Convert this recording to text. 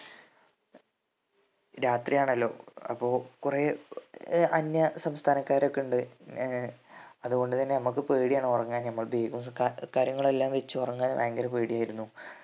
രാത്രിയാണല്ലോ അപ്പൊ കൊറേ ഏർ അന്യ സംസ്ഥാനക്കാരൊക്കെ ഇണ്ട് ഏർ അതുകൊണ്ട് തന്നെ നമ്മക്ക് പേടിയാണ് ഉറങ്ങാൻ നമ്മളെ bag ഉം കാ കാര്യങ്ങളെല്ലാം വെച്ച് ഉറങ്ങാൻ ഭയങ്കര പേടിയായിരുന്നു